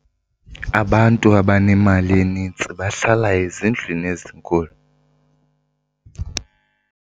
abantu abanemali eninzi bahlala ezindlwini ezinkulu